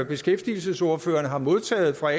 beskæftigelsesordførerne har modtaget fra